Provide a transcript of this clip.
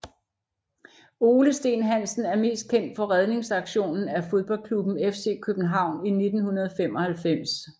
Ole Steen Hansen er mest kendt for redningsaktionen af fodboldklubben FC København i 1995